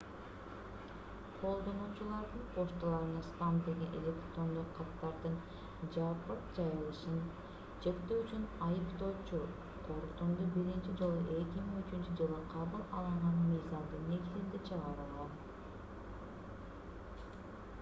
колдонуучулардын почталарына спам делген электрондук каттардын жапырт жайылышын чектөө үчүн айыптоочу корутунду биринчи жолу 2003-жылы кабыл алынган мыйзамдын негизинде чыгарылган